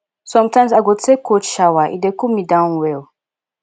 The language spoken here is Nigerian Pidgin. sometimes i go take cold shower e dey cool me down well